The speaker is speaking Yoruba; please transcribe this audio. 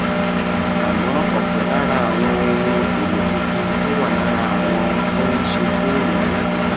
àmó òpò lára àwọn ohun èlò tuntun tó wà lára àwọn tó ń ṣe fóònù alágbèéká